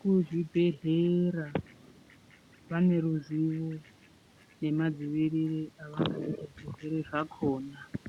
kuzvibhehlera vane ruzivo nemadziiriro avangaita zvirwere zvakona.